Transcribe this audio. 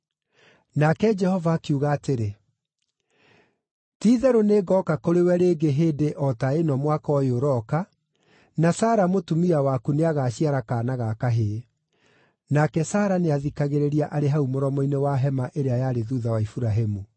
Nake Jehova akiuga atĩrĩ, “Ti-itherũ nĩngooka kũrĩ we rĩngĩ hĩndĩ o ta ĩno mwaka ũyũ ũroka, na Sara mũtumia waku nĩagaciara kaana ga kahĩĩ.” Nake Sara nĩathikagĩrĩria arĩ hau mũromo-inĩ wa hema ĩrĩa yarĩ thuutha wa Iburahĩmu.